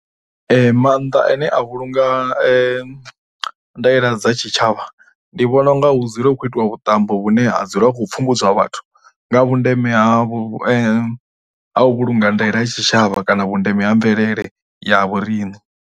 Maanḓa ane a vhulunga ndaela dza tshitshavha ndi vhona u nga hu dzule hu khou itiwa vhuṱambo vhune ha dzula hu khou pfhumbudzwa vhathu nga vhundeme ha vhu, ha u vhulunga ndaela ya tshitshavha kana vhundeme ha mvelele ya vhoriṋe.